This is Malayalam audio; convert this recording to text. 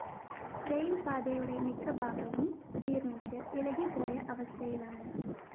റയില്‍പാതയുടെ മിക്കഭാഗവും ജീര്‍ണിച്ച് ഇളകിപോയ അവസ്ഥയിലാണ്